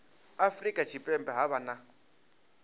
afurika tshipembe ha vha na